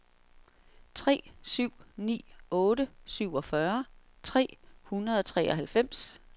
tre syv ni otte syvogfyrre tre hundrede og treoghalvfems